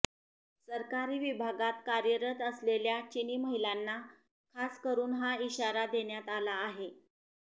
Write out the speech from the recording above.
सरकारी विभागांत कार्यरत असलेल्या चिनी महिलांना खासकरून हा इशारा देण्यात आला आहे